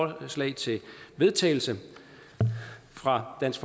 et forslag til vedtagelse fra dansk